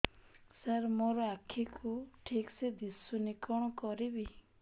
ସାର ମୋର ଆଖି କୁ ଠିକସେ ଦିଶୁନି କଣ କରିବି